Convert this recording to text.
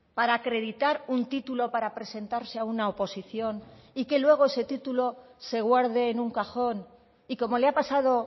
para acreditar un título para presentarse a una oposición y que luego ese título se guarde en un cajón y como le ha pasado